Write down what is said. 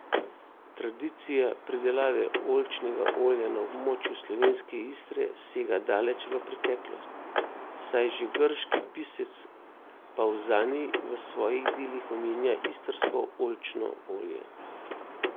Tradicija pridelave oljčnega olja na območju slovenske Istre sega daleč v preteklost, saj že grški pisec Pavzanij v svojih delih omenja istrsko oljčno olje.